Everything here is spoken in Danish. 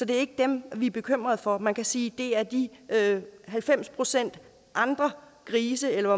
det er ikke dem vi er bekymrede for man kan sige at det er de halvfems procent andre grise eller